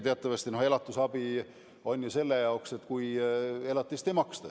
Teatavasti on elatisabi ette nähtud selleks puhuks, kui elatist ei maksta.